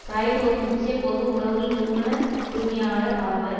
பிராய்ட் ஒரு முக்கிய பொது உறவுகள் நிறுவன உரிமையாளர் ஆவார்